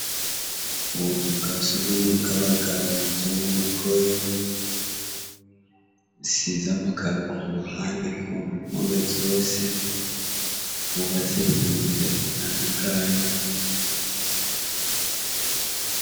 Ubuzu bwa surwumwe bw' abagabo canke umukoyo, isize amakaro ku ruhande ku mpome zose, bwubatse mu mirwi itatu itandukanye.